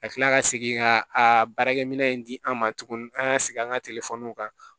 Ka kila ka segin ka a baarakɛminɛ in di an ma tuguni an ka segin an ka kan